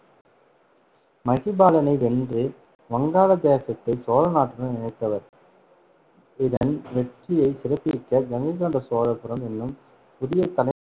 மகிபாலனை வென்று வங்காள தேசத்தை சோழநாட்டுடன் இணைத்தவர் இதன் வெற்றியைச் சிறப்பிக்க கங்கை கொண்ட சோழபுரம் என்னும் புதிய தலை